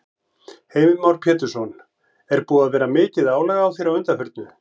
Heimir Már Pétursson: Er búið að vera mikið álag á þér að undanförnu?